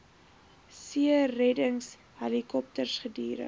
seereddings helikopters gedurig